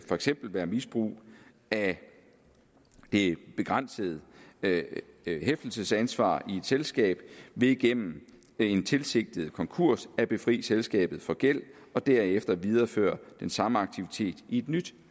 for eksempel være misbrug af det begrænsede hæftelsesansvar i et selskab ved igennem en tilsigtet konkurs at befri selskabet for gæld og derefter videreføre den samme aktivitet i et nyt